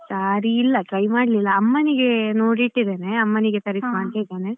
Saree ಇಲ್ಲ try ಮಾಡ್ಲಿಲ್ಲ ಅಮ್ಮನಿಗೆ ನೋಡಿ ಇಟ್ಟಿದ್ದೇನೆ ಅಮ್ಮನಿಗೆ ತರಿಸ್ವ ಅಂತ ಇದ್ದೇನೆ.